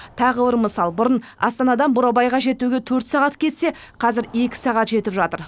тағы бір мысал бұрын астанадан бурабайға жетуге төрт сағат кетсе қазір екі сағат жетіп жатыр